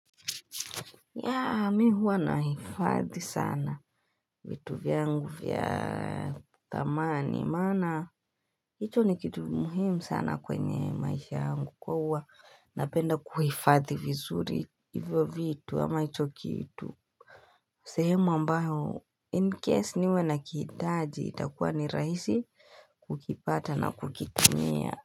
Yaa mi huwa nahifadhi sana vitu vyangu vya thamani maana hicho ni kitu muhimu sana kwenye maisha yangu kwa huwa napenda kuhifadhi vizuri hivyo vitu ama hicho kitu sehemu ambayo incase niwe nakihitaji itakuwa ni rahisi kukipata na kukitumia.